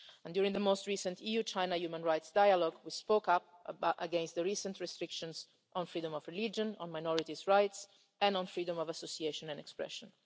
During the last EU China human rights dialogue we spoke up against the recent restrictions on freedom of religion, on minorities' rights and on freedom of association and expression.